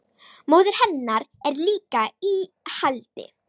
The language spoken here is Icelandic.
Móðir hennar er líka í haldi